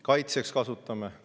Kasutame seda ka kaitseks.